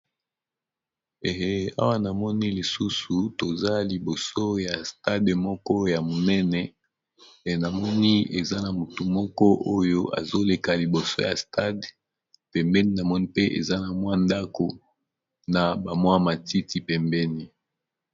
Eawa namoni lisusu toza liboso ya stade moko ya monene enamoni eza na motu moko oyo azoleka liboso ya stade pembeni namoni mpe eza na mwa ndako na ba mwa matiti pembeni.